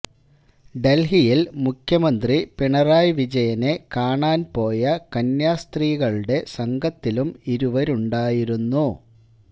ഡല്ഹിയില് മുഖ്യമന്ത്രി പിണറായി വിജയനെ കാണാന് പോയ കന്യാസ്ത്രീകളുടെ സംഘത്തിലും ഇരുവരുമുണ്ടായിരുന്നു